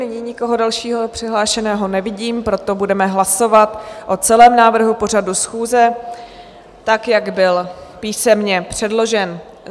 Nyní nikoho dalšího přihlášeného nevidím, proto budeme hlasovat o celém návrhu pořadu schůze, tak jak byl písemně předložen.